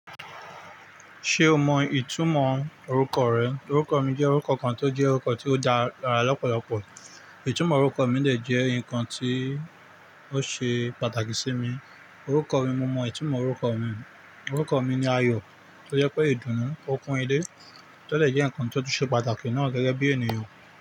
Ṣé o mọ ìtumọ̀ orúkọ rẹ? Orúkọ mi jẹ́ orúkọ kan tó jẹ́ orúkọ tí ó dára lọ́pọ̀lọpọ̀. Ìtumọ̀ orúkọ mi lè jẹ́ ǹkan tí ó ṣe pàtàkì sí mi. Orúkọ mi, mo mọ ìtumọ̀ orúkọ mi. Orúkọ mi ni Ayọ̀, tó jẹ́ pé ìdùnnú, ọkùnrin ilé, tó lè jẹ́ ǹkan tí ó ṣe pàtàkì náà gẹ́gẹ́ bí ènìyàn.